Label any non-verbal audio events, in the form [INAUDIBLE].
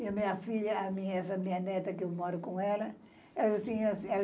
E a minha filha, a minha, essa minha neta que eu moro com ela, ela diz assim [UNINTELLIGIBLE]